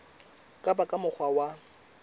ka ba ka mokgwa wa